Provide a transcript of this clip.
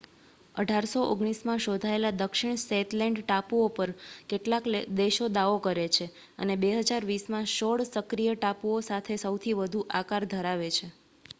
1819માં શોધાયેલા દક્ષિણ શેતલેન્ડ ટાપુઓ પર કેટલાક દેશો દાવો કરે છે અને 2020 માં સોળ સક્રિય ટાપુઓ સાથે સૌથી વધુ આધાર ધરાવે છે